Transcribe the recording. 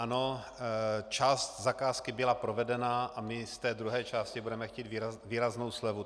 Ano, část zakázky byla provedena a my z té druhé části budeme chtít výraznou slevu.